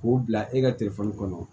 K'o bila e ka kɔnɔ